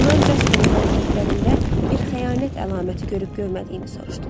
Ondan Jasperin hərəkətlərində bir xəyanət əlaməti görüb görmədiyini soruşdular.